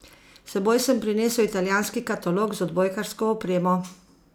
S seboj sem prinesel italijanski katalog z odbojkarsko opremo.